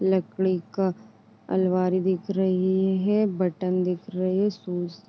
लकड़ी का अलमारी दिख रही है। बटन दिख रही है। सुस --